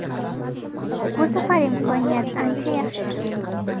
Bu safar imkoniyat ancha yaxshi.